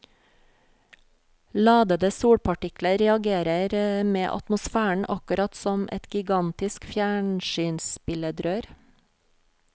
Ladede solpartikler reagerer med atmosfæren akkurat som et gigantisk fjernsynsbilledrør.